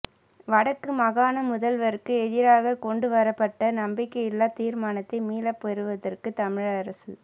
வடக்கு மாகாண முதல்வருக்கு எதிராகக் கொண்டு வரப்பட்ட நம்பிக்கையில்லாத் தீர்மானத்தை மீளப் பெறுவதற்குத் தமிழரசுக்